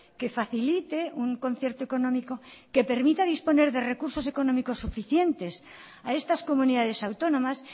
que facilite un concierto económico que permita disponer de recursos económicos suficientes a estas comunidades autónomas